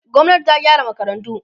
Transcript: gwamnati ta gyara makarantu